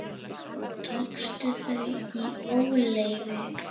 Tókstu þau í óleyfi?